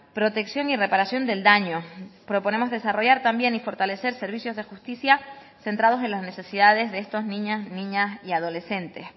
protección y reparación del daño proponemos desarrollar también y fortalecer servicios de justicia centrados en las necesidades de estos niños niñas y adolescentes